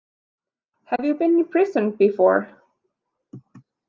Have you been in prison before?